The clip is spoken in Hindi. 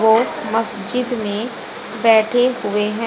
वो मस्जिद में बैठे हुए हैं।